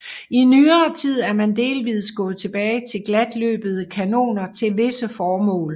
I nyere tid er man delvist gået tilbage til glatløbede kanoner til visse formål